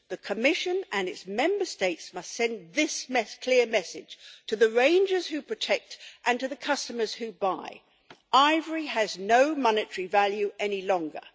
The Commission and its Member States must send this clear message to the rangers who protect and to the customers who buy ivory has no monetary value any longer.